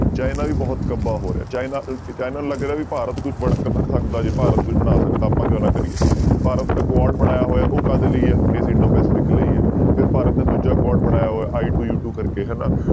China ਵੀ ਬਹੁਤ ਕੱਬਾ ਹੋ ਰਿਹਾ ਚਾਈਨਾ ਅਹ ਚਾਈਨਾ ਨੂੰ ਲੱਗ ਰਿਹਾ ਵੀ ਭਾਰਤ ਸਕਦਾ ਜੇ ਭਾਰਤ ਬਣਾ ਸਕਦਾ ਆਪਾਂ ਕਿਉਂ ਨਾ ਕਰੀਏ ਭਾਰਤ ਦਾ ਕੁਆਡ ਬਣਾਇਆ ਹੋਇਆ ਉਹ ਕਾਹਦੇ ਲਈ ਹੈ ਇਹ ਇੰਡੋ ਪੈਸਿਫਿਕ ਲਈ ਹੈ ਫਿਰ ਭਾਰਤ ਨੇ ਦੂਜਾ ਕੁਆਡ ਬਣਾਇਆ ਹੋਇਆ i two u two ਕਰਕੇ ਹਨਾ